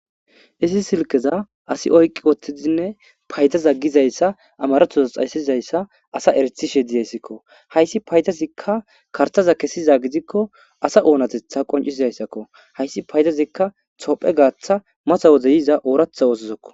Isi silkeza asi oyqqi wottizinne paytaza gizayssa amarethoza xaysizayssa asa eretishe diyayssikko hayssi paytasikka kartaza kesiza gidikko asa oonatetha qoncisizayssakko hayssi paytazikka tophe gaaththa masa wozeyiza ooratha wosizokko.